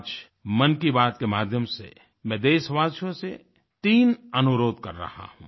आज मन की बात के माध्यम से मैं देशवासियों से 3 अनुरोध कर रहा हूँ